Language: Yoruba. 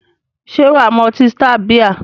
Se waa mu oti star bia?